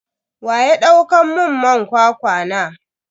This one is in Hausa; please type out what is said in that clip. Waya dauka mun man kwakwa na?